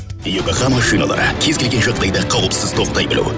йокохама шиналары кез келген жағдайда кауіпсіз тоқтай білу